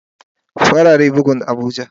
Farare bugun abuja.